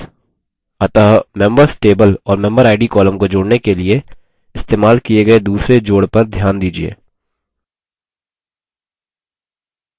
अतः members table और memberid column को जोड़ने के लिए इस्तेमाल किये गये दूसरे जोड़ पर ध्यान दीजिये